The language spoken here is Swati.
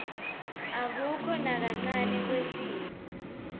akukho nakancane kwehliswa